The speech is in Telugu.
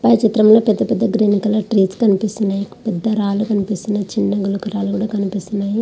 పై చిత్రం లో మనకి పెద్ద పెద్ద రాలు కనిపిస్తున్నాయి చిన్న చిన్న గులక రాలు కూడా కనిపిస్తున్నాయి.